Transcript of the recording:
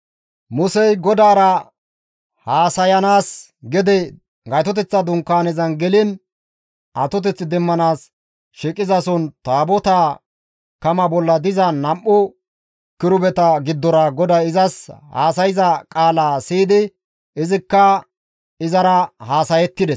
Musey GODAARA haasayanaas gede Gaytoteththa Dunkaanezan geliin atoteth demmanaas shiiqizason Taabotaa kama bolla diza nam7u Kirubeta giddora GODAY izas haasayza qaala siyidi izikka izara haasayettides.